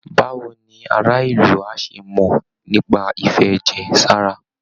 Báwo ni ará ìlú á ṣe mọ̀ nípa ìfẹ̀jẹ̀ sára?